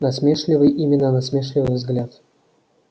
насмешливый именно насмешливый взгляд